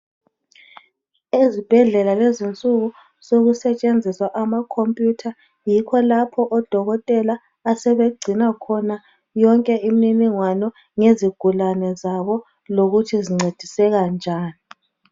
Ezibhedlela kulezinsuku sekusetshenziswa ama computer. Yikho lapho odokotela asebegcina khona yonke imininingwano yezigulane zabo lokuthi zincediseka njani.